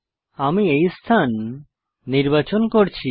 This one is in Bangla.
আমি এই স্থান নির্বাচন করছি